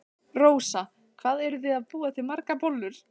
Rósa: Hvað eruð þið að búa til margar bollur?